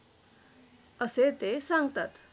असे ते सांगतात.